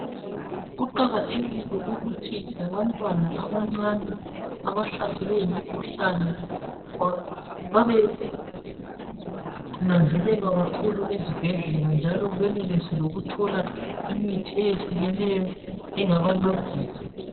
Kuqakathekile ukuthi labantwana abancane, abahlaselwe yimikhuhlane. Babenanzelelwa kakhulu esibhedlela, njalo benelise lokuthola imithi eyehlukeneyo, engabancedisa.